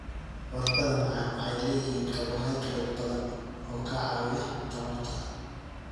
Baradhada macaan waxay leeyihiin karbohaydrayt badan oo ka caawiya tamarta.